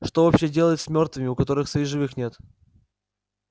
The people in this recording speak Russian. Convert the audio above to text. что вообще делают с мёртвыми у которых своих живых нет